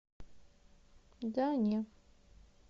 да не